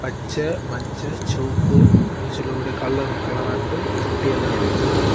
பச்ச மஞ்ச செவப்பு அப்டின்னு சொல்லக்கூடிய கலராட்டு தொட்டி எல்லாம் இருக்குது.